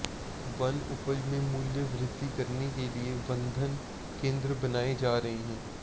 one उपज में मूल्य वृद्धि करने के लिए वनधन केंद्र बनाए जा रहे हैं